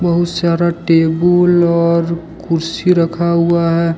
बहुत सारा टेबुल और कुर्सी रखा हुआ है।